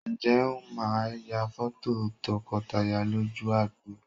Ǹjẹ́ Wọ́n máa ya fọ́tò tọkọtaya lójú agbo?